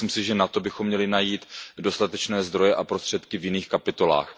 Myslím si, že na to bychom měli najít dostatečné zdroje a prostředky v jiných kapitolách.